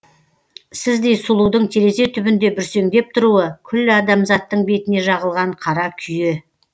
сіздей сұлудың терезе түбінде бүрсеңдеп тұруы күллі адамзаттың бетіне жағылған қара күйе